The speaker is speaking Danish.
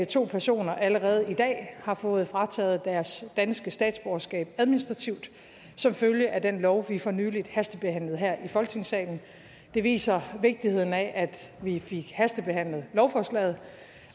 to personer allerede i dag har fået frataget deres danske statsborgerskab administrativt som følge af den lov vi for nylig hastebehandlede her i folketingssalen det viser vigtigheden af at vi fik hastebehandlet lovforslaget